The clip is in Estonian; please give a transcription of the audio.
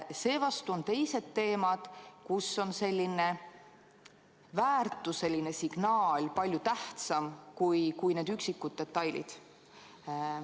Samas on teised teemad, kus on selline väärtuseline signaal palju tähtsam kui üksikud detailid.